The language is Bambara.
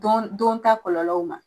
Don don ta kɔlɔlɔw ma